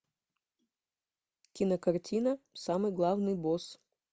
кинокартина самый главный босс